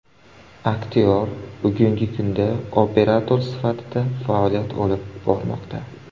Aktyor bugungi kunda operator sifatida faoliyat olib bormoqda.